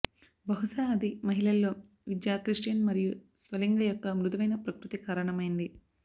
బహుశా అది మహిళల్లో విద్య క్రిస్టియన్ మరియు స్వలింగ యొక్క మృదువైన ప్రకృతి కారణమైంది